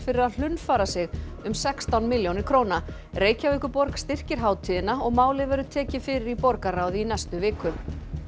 fyrir að hlunnfara sig um sextán milljónir króna Reykjavíkurborg styrkir hátíðina og málið verður tekið fyrir í borgarráði í næstu viku